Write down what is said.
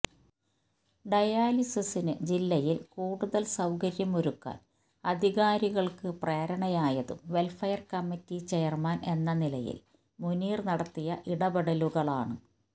ഡയാലിസിസിനു ജില്ലയിൽ കൂടുതൽ സൌകര്യം ഒരുക്കാൻ അധികാരികൾക്കു പ്രേരണയായതും വെൽഫെയർ കമ്മിറ്റി ചെയർമാൻ എന്ന നിലയിൽ മുനീർ നടത്തിയ ഇടപെടലുകളാണ്